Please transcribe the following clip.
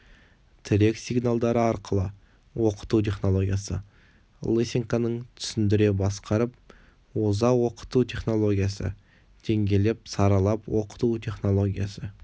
тірек сигналдары арқылы оқыту технологиясы лысенконың түсіндіре басқарып оза оқыту технологиясы деңгейлеп саралап оқыту технологиясы